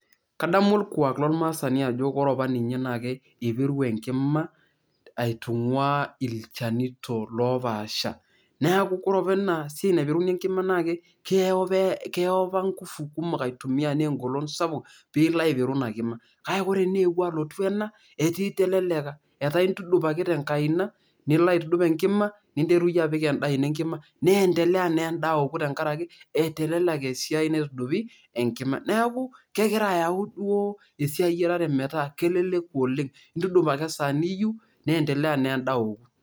kadamu orkuak lormaasani ajo ore apa ninye naa ipiru aitung'ua ilchanito lopaasha neaku kore apa enasiai naipiruni enkima naa keyo apa ingufu kumok aitumia naa engolon sapuk piilo aipiru ina kima, kake kore naa eewuo alotu ena etee iteleleka, etaa intudup tenkaina nilo aitudup enkima ninteru iyie apik endaa ino enkima niendeleya nena endaa aoku tenkaraki eteleleka esiai naitudupi enkima neeku kegira ayau duo esiai eyiarare metaa keleleku oleng intudup ake esaa niyieu nendeleya naa endaa aoku.